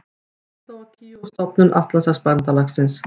Tékkóslóvakíu og stofnun Atlantshafsbandalagsins.